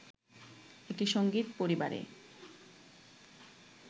একটি সংগীত পরিবারে